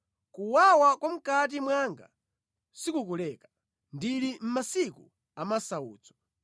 Kuwawa kwa mʼkati mwanga sikukuleka; ndili mʼmasiku amasautso.